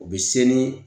U bɛ se ni